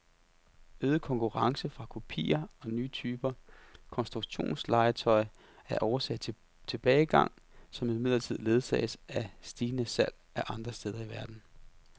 Øget konkurrence fra kopier og nye typer konstruktionslegetøj er årsag til tilbagegangen, som imidlertid ledsages af stigende salg andre steder i verden.